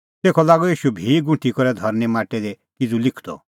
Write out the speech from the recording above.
तेखअ लागअ ईशू भी गुंठी करै धरनीं माटै दी किज़ू लिखदअ